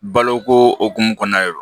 Baloko hukumu kɔnɔna yɛrɛ